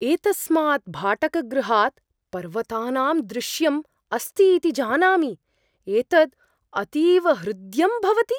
एतस्मात् भाटकगृहात् पर्वतानां दृश्यम् अस्ति इति जानामि। एतद् अतीव हृद्यं भवति!